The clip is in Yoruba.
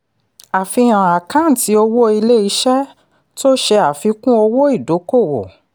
àfihàn àkáǹtì owó ilé-iṣẹ́ tó ṣe àfikún owó ìdókòwò.